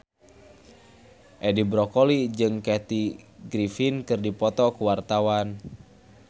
Edi Brokoli jeung Kathy Griffin keur dipoto ku wartawan